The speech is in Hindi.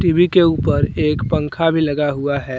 टी_वी के ऊपर एक पंखा भी लगा हुआ है।